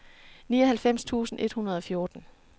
nioghalvfems tusind et hundrede og fjorten